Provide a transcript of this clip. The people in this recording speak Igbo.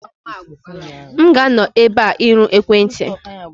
M ga-anọ ebe a irụ ekwentị.